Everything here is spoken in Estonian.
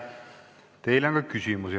Teile on ka küsimusi.